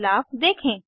बदलाव देखें